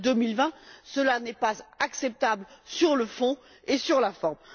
2020. Cela n'est pas acceptable ni sur le fond ni sur la forme.